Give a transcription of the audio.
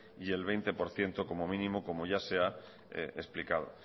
y el veinte por ciento como mínimo como ya se ha explicado